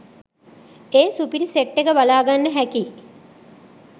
ඒ සුපිරි සෙට් එක බලාගන්න හැකි